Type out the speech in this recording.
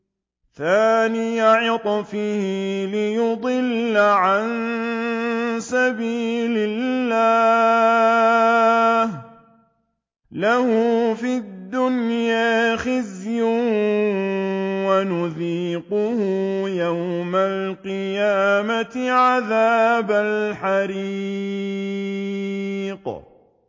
ثَانِيَ عِطْفِهِ لِيُضِلَّ عَن سَبِيلِ اللَّهِ ۖ لَهُ فِي الدُّنْيَا خِزْيٌ ۖ وَنُذِيقُهُ يَوْمَ الْقِيَامَةِ عَذَابَ الْحَرِيقِ